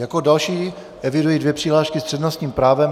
Jako další eviduji dvě přihlášky s přednostním právem.